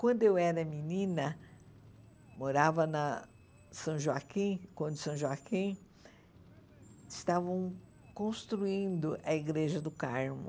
Quando eu era menina, morava na São Joaquim, quando São Joaquim, estavam construindo a Igreja do Carmo.